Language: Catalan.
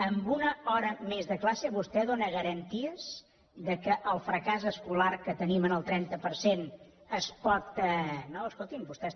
amb una hora més de classe vostè dóna garanties que el fracàs escolar que tenim en el trenta per cent es pot